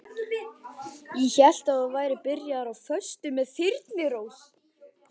Ég hélt að þú værir byrjaður á föstu með Þyrnirós.